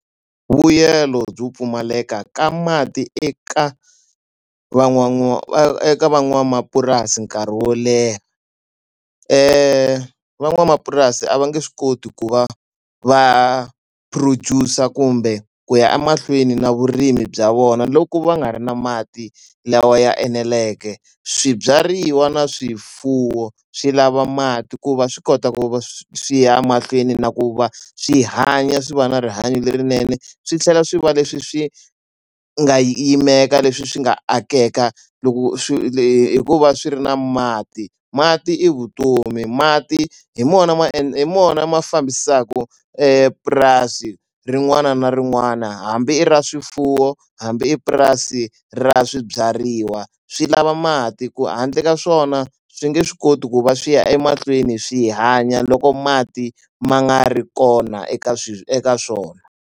Mbuyelo byo pfumaleka ka mati eka eka van'wamapurasi nkarhi wo leha. Van'wamapurasi a va nge swi koti ku va va produce-a kumbe ku ya emahlweni na vurimi bya vona loko va nga ri na mati lawa ya eneleke. Swibyariwa na swifuwo swi lava mati ku va swi kota ku va swi ya mahlweni na ku va swi hanya swi va na rihanyo lerinene, swi tlhela swi va leswi swi nga yimela leswi swi nga akeka loko swi hi ku va swi ri na mati. Mati i vutomi, mati hi wona ma ende hi wona ma fambisaka purasi rin'wana na rin'wana, hambi i ra swifuwo, hambi i purasi ra swibyariwa. Swi lava mati ku handle ka swona swi nge swi koti ku va swi ya emahlweni swi hanya loko mati ma nga ri kona eka eka swona.